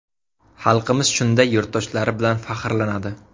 Xalqimiz shunday yurtdoshlari bilan faxrlanadi.